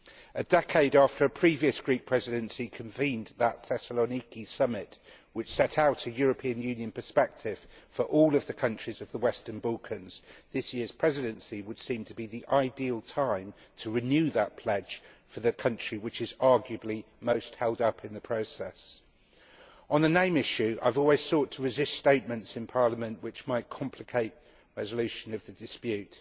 A decade after a previous Greek Presidency convened the Thessaloniki Summit, which set out a European Union perspective for all of the countries of the Western Balkans, this year's Presidency would seem to be the ideal time to renew that pledge for the country which is arguably most held up in the process. On the name issue, I have always sought to resist statements in Parliament which might complicate the resolution of the dispute,